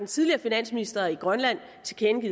tidligere finansminister i grønland